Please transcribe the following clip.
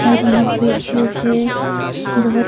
और यहां पे जो है बहुत --